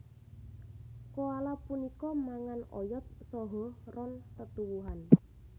Koala punika mangan oyot saha ron tetuwuhan